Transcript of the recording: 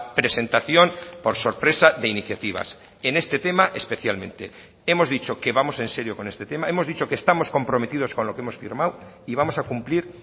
presentación por sorpresa de iniciativas en este tema especialmente hemos dicho que vamos en serio con este tema hemos dicho que estamos comprometidos con lo que hemos firmado y vamos a cumplir